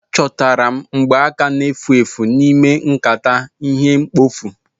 Achọtara m mgbaaka na-efu efu n'ime nkata ihe mkpofu